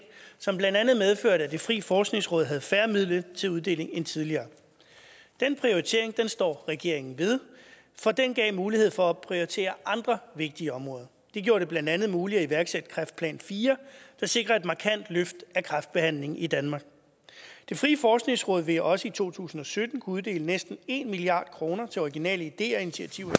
som blandt andet medførte at det frie forskningsråd havde færre midler til uddeling end tidligere den prioritering står regeringen ved for den gav mulighed for at prioritere andre vigtige områder det gjorde det blandt andet muligt at iværksætte kræftplan iv der sikrer et markant løft af kræftbehandlingen i danmark det frie forskningsråd vil også i to tusind og sytten kunne uddele næsten en milliard kroner til originale ideer og initiativer